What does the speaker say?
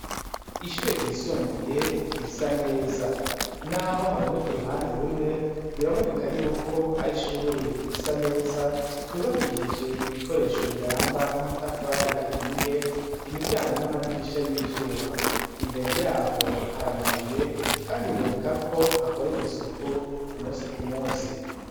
Ishure ryisumbuye, risa neza. Naho haboneka uruhande rumwe, biraboneka yuko ari ishuri risa neza, ryubakishije ibikoresho biramba, nk'amatafari ahiye, imiryango n'amadirisha y'ivyuma. Imbere yaho hari amabuye, kandi biboneka ko hakorerwa isuku, ku munsi ku munsi.